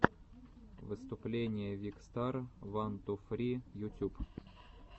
выступление викстар ван ту фри ютюб